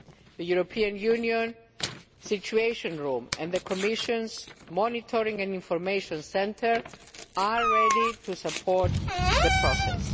The European Union situation room and the Commission's monitoring and information centre are ready to support the process.